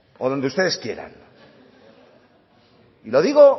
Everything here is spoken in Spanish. o donde ustedes quieran y lo digo